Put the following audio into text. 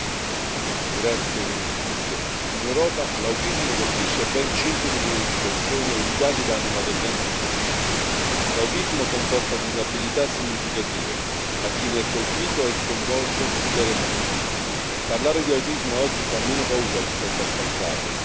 Signora Presidente, onorevoli colleghi, in Europa l'autismo colpisce ben 5 milioni di persone, e i dati danno una tendenza in crescita. L'autismo comporta disabilità significative a chi ne è colpito e sconvolge intere famiglie. Parlare di autismo oggi fa meno paura rispetto al passato.